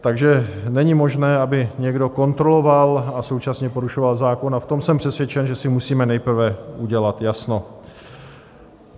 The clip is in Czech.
Takže není možné, aby někdo kontroloval a současně porušoval zákon, a v tom jsem přesvědčen, že si musíme nejprve udělat jasno.